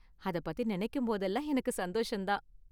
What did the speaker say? அத பத்தி நெனைக்கும் போதெல்லாம் எனக்கு சந்தோசம் தான்.